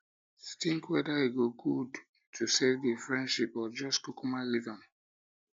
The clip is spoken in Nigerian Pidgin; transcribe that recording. tink weda um e go gud to safe um di friendship or jus kukuma leave am